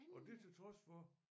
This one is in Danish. Og det til trods for